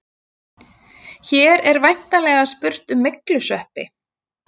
Hér er væntanlega spurt um myglusveppi.